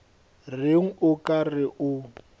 reng o ka re o